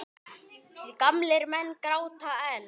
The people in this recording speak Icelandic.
Því gamlir menn gráta enn.